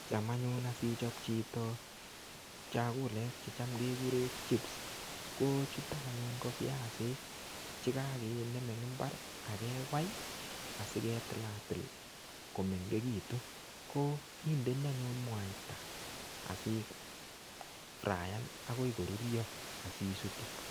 Cham anyun asichop chito chakulek checham kekure chips, ko chutok anyun ko viasik che kakinem eng mbar akewai, asiketilatil komeng'ekitu. Ko kindeni anyun mwaita, asifraiyan akoi korurio, asisutu.